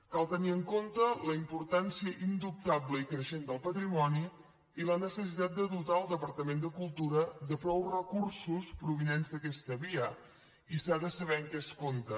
cal tenir en compte la importància indubtable i creixent del patrimoni i la necessitat de dotar el departament de cultura de prou recursos provinents d’aquesta via i s’ha de saber amb què es compta